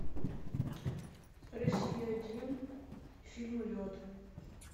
россия один фильм лед